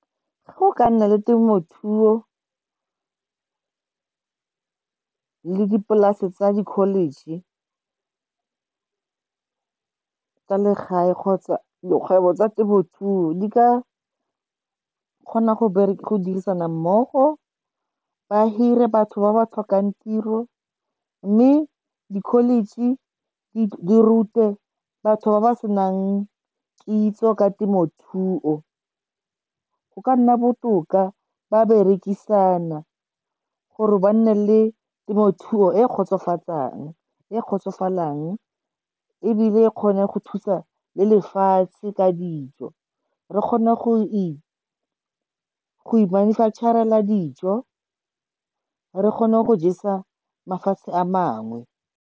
Go ka nna le temothuo le dipolase tsa di-college tsa legae, kgotsa dikgwebo tsa temothuo di ka kgona go dirisana mmogo, ba hire batho ba ba tlhokang tiro. Mme di-college di rute batho ba ba senang kitso ka temothuo. Go ka nna botoka ba berekisana, gore ba nne le temothuo e e kgotsofatsang ebile e kgone go thusa le lefatshe ka dijo. Re kgona go imanufacturela dijo, re kgona go jesa mafatshe a mangwe.